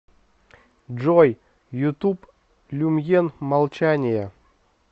джой ютуб люмьен молчание